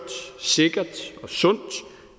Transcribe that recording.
sikkert og sundt